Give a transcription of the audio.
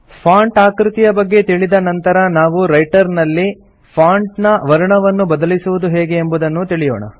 font ಆಕೃತಿಯ ಬಗ್ಗೆ ತಿಳಿದ ನಂತರ ನಾವು ರೈಟರ್ ನಲ್ಲಿ ಫಾಂಟ್ ನ ವರ್ಣವನ್ನು ಬದಲಿಸುವುದು ಹೇಗೆ ಎಂಬುದನ್ನೂ ತಿಳಿಯೋಣ